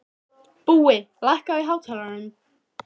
Búi, lækkaðu í hátalaranum.